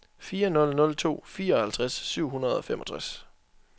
fire nul nul to fireoghalvtreds syv hundrede og femogtres